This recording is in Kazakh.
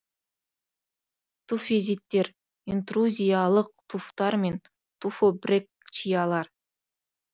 туффизиттер интрузиялық туфтар мен туфобрекчиялар